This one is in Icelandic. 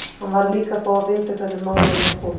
Hann varð líka að fá að vita hvernig málum var komið.